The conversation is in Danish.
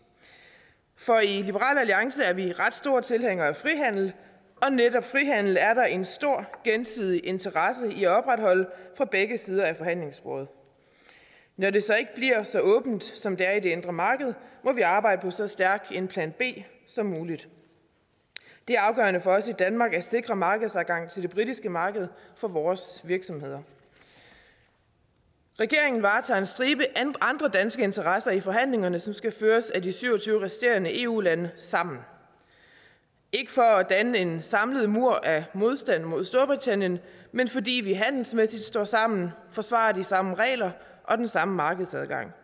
for i liberal alliance er vi ret store tilhængere af frihandel og netop frihandel er der en stor gensidig interesse i at opretholde fra begge sider af forhandlingsbordet når det så ikke bliver så åbent som det er i det indre marked må vi arbejde på så stærk en plan b som muligt det er afgørende for os i danmark at sikre markedsadgang til det britiske marked for vores virksomheder regeringen varetager en stribe andre danske interesser i forhandlingerne som skal føres af de syv og tyve resterende eu lande sammen ikke for at danne en samlet mur af modstand mod storbritannien men fordi vi handelsmæssigt står sammen forsvarer de samme regler og den samme markedsadgang